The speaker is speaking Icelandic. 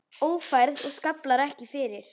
Ófærð og skaflar ekki til.